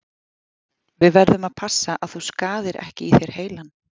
Við verðum að passa að þú skaðir ekki í þér heilann.